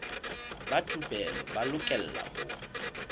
ba thupelo ba lokela ho